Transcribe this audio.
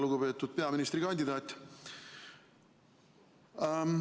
Lugupeetud peaministrikandidaat!